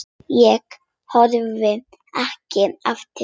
Ég horfi ekki eftir þér.